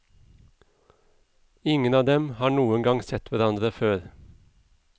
Ingen av dem har noen gang sett hverandre før.